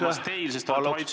Palun protseduurilist küsimust!